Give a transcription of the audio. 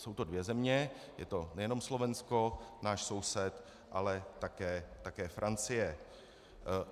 Jsou to dvě země, je to nejenom Slovensko, náš soused, ale také Francie.